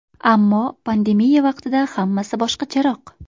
Ammo pandemiya vaqtida hammasi boshqacharoq.